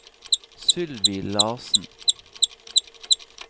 Sylvi Larsen